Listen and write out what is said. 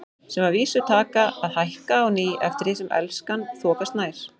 Sem að vísu taka að hækka á ný eftir því sem Elskan þokast nær.